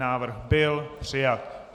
Návrh byl přijat.